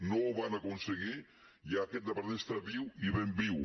no ho van aconseguir i ara aquest departament està viu i ben viu